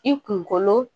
I kunkolo